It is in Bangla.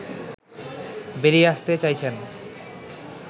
বেরিয়ে আসতে চাইছেন